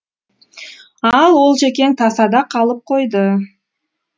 ал олжекең тасада қалып қойды